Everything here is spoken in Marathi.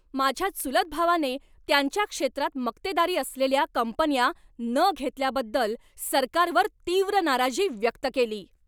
माझ्या चुलत भावाने त्यांच्या क्षेत्रात मक्तेदारी असलेल्या कंपन्या न घेतल्याबद्दल सरकारवर तीव्र नाराजी व्यक्त केली.